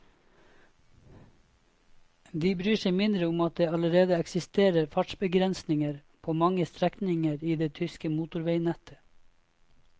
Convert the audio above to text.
De bryr seg mindre om at det allerede eksisterer fartsbegrensninger på mange strekninger i det tyske motorveinettet.